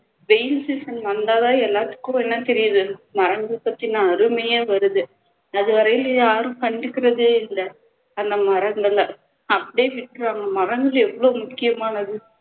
வெயில் season வந்தாதான் எல்லாத்துக்கும் என்ன தெரியுது மரங்கள் பத்தின அருமையே வருது அதுவரையிலும் இதை யாரும் கண்டுக்குறதே இல்ல அந்த மரங்களை அப்படியே விட்டுருவாங்க மரங்கள் எவ்வளோ முக்கியமானது